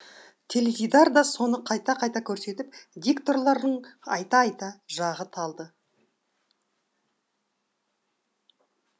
теледидар да соны қайта қайта көрсетіп дикторларың айта айта жағы талды